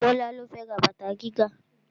Bọ́lá ló fẹ́ ra bàtà gíga